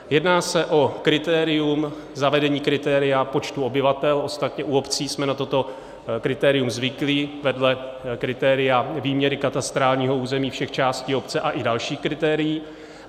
Jedná se o kritérium - zavedení kritéria počtu obyvatel, ostatně u obcí jsme na toto kritérium zvyklí, vedle kritéria výměry katastrálního území všech částí obce a i dalších kritérií.